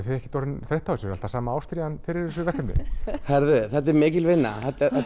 þið ekkert orðin þreytt á þessu er alltaf sama ástríðan fyrir þessu verkefni heyrðu þetta er mikil vinna